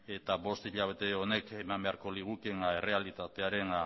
eta bost hilabete honek eman beharko ligukeen errealitatearen